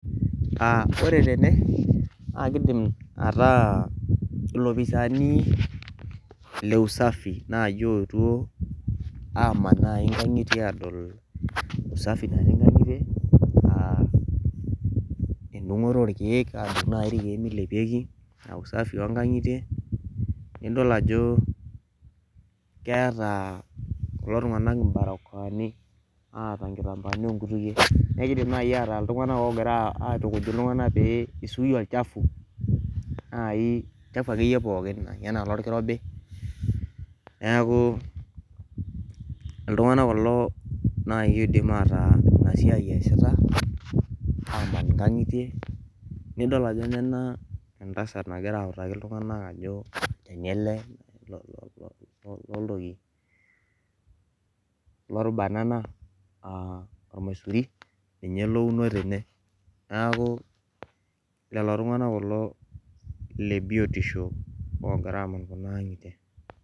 Uh ore tene naa kidim ataa ilopisaani le usafi naaji oetuo aman naai inkang'itie aadol usafi natii inkang'itie uh endung'oto orkeek adung naai milepieki uh usafi onkang'itie nidol ajo keeta kulo tung'anak imbarokoani aata inkitambaani onkutukie nekidim naai ataa iltung'anak ogira aitukuj iltung'anak pee isuia olchafu naai olchafu akeyie pookin enaa ilorkirobi neaku iltung'anak kulo naai oidim ataa ina siai eesita aman inkang'itie nidol ajo nena entasat nagira autaki iltung'anak ajo olchani ele lo lo loltoki lor banana uh ormaisuri ninye ele ouno tene naaku lelo tung'anak kulo lebiotisho ogira aman kuna ang'itie.